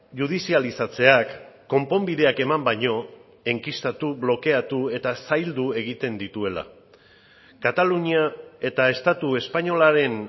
judizializatzeak konponbideak eman baino enkistatu blokeatu eta zaildu egiten dituela katalunia eta estatu espainolaren